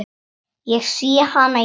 Ég sé hana í mistri.